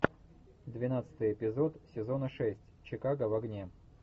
двенадцатый эпизод сезона шесть чикаго в огне